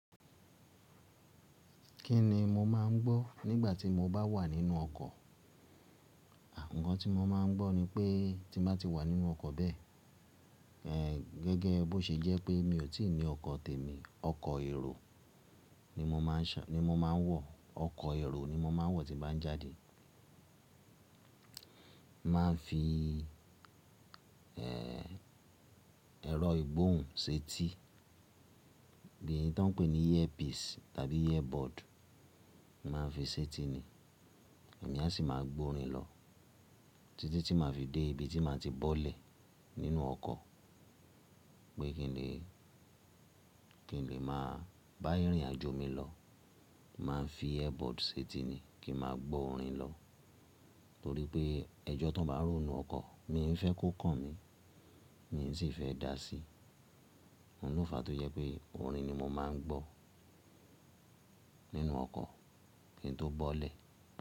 Kí ni mo má a ń gbọ́ nígbà tí mo bá wà nínú ọkọ̀? Ǹǹ kan tí mo má a ń gbọ́ ni pé tí mo bá ti wà nínú ọkọ̀ bẹ́ẹ̀, gẹ́gẹ́ bó ṣe jẹ́ pé mi ò tí ì ní ọkọ̀ tèmi, ọkọ̀ èrò ni mo má a ń wọ̀, ọkọ̀ èrò ni mo má a ń wọ̀ tí bá ń jáde. Má a fi ẹ̀rọ ìgbóhùn sí etí, bí eyi tí wọ́n ń pè ní earpiece tàbí earbud má a fi sí etí ni. Èmi á sì máa gbọ́ orin lọ títí tí màá fi dé ibi tí màá ti bọ́lẹ̀ nínú ọkọ̀. Pé kí n lè, kí n lè máa bá ìrìnàjò mi lọ. Má a fi earbud sí etí ni kí n máa gbọ́ orin lọ. Nítorí pé ẹjọ́ tó bá n rò ninú ọkọ̀ mi ń fẹ́ kó kàn mí, mi sì fẹ́ dáa sí i. Òun ló fàá tó yẹ pé orin ni mo má a ń gbọ́ nínú ọkọ̀ kí n tó bọ́lẹ̀.